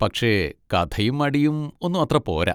പക്ഷെ കഥയും അടിയും ഒന്നും അത്ര പോരാ.